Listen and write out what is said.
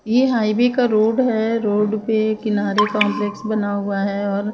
ये हायवे का रोड है रोड पे किनारे कॉम्प्लेक्स बना हुआ है और --